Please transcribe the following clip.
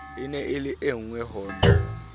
e le engwe ho na